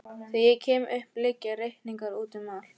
Þegar ég kem upp liggja reikningar úti um allt.